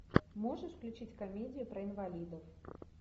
можешь включить комедию про инвалидов